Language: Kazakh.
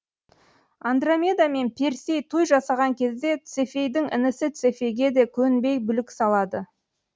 андромеда мен персей той жасаған кезде цефейдің інісі цефейге де көнбей бүлік салады